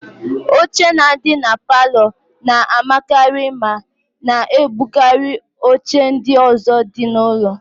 Oche na-adị na palọ na-amakarị ma na-ebukarị oche ndị ọ̀zọ́ dị n'ụlọ.